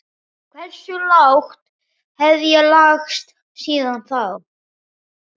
Hversu lágt hef ég lagst síðan þá?